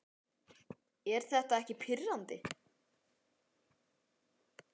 Er þetta ekki pirrandi?